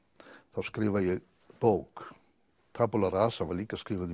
þá skrifa ég bók tabula rasa var líka skrifuð í